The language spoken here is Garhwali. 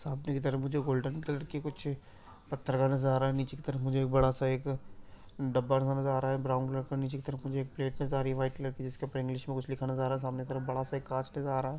सामने की तरफ मुझे गोल्डन कलर की कुछ पत्थर का नज़र आ रहा है निचे की तरफ मुझे बड़ा सा एक डब्बा नज़र आ रहा है ब्राउन कलर का निचे की तरफ मुझे एक प्लेट नज़र आ रही है वाइट कलर की जिसपे इंग्लिश मे कुछ लिखा हुआ नज़र आ रहा है सामने की तरफ बड़ा सा एक कांच नज़र आ रहा है।